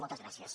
moltes gràcies